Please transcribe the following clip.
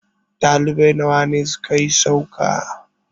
ɗalibai nawa ne suka yi sauka?